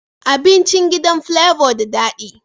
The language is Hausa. Abincin gidan flavor da dadi